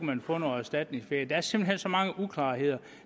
man få noget erstatningsferie der er simpelt hen så mange uklarheder